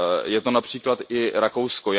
Je to například i Rakousko.